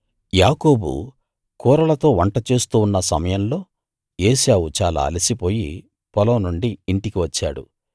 యాకోబు కూరలతో వంట చేస్తూ ఉన్న సమయంలో ఏశావు చాలా అలసిపోయి పొలం నుండి ఇంటికి వచ్చాడు